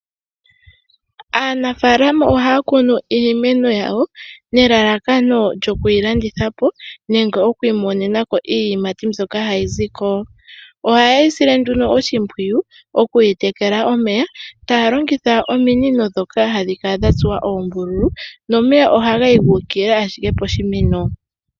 Aanafalama ohaya kunu iimeno yawo, nelalakano lyoku yi landitha po nenge oku imonenako iiyimati mbyoka hayi ziko. Oha ye yi sile nduno oshimpwiyu okuyi tekela omeya, taya longitha ominino dhoka hadhi kala dha tsuwa oombululu, nomeya oha gayi gu ukilila ashike poshimeno.